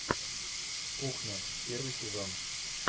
кухня первый сезон